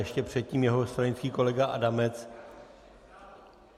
Ještě předtím jeho stranický kolega Adamec.